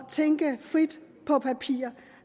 tænke frit på papir